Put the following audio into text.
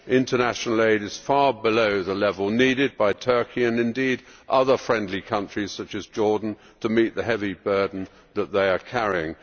International aid is far below the level needed by Turkey and other friendly countries such as Jordan to meet the heavy burden they are carrying.